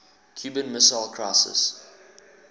cuban missile crisis